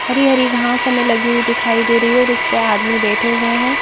हरी हरी घास हमें लगी हुई दिखाई दे रही है और उसे पर आदमी बैठे हुए हैं।